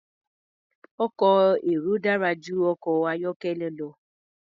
Ọkọ̀ èrò dára jù ọkọ̀ ayọ́kẹ́lẹ́ lọ.